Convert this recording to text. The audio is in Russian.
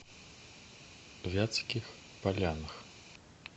вятских полянах